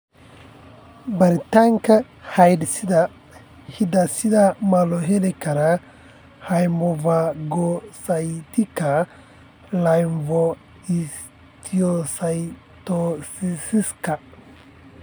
Baaritaanka hidde-sidaha ma loo heli karaa hemophagocytika lymphohistiocytosiska?